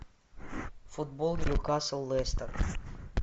футбол ньюкасл лестер